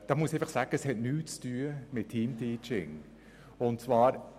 Dazu muss ich sagen, dass diese nichts mit Teamteaching zu tun haben.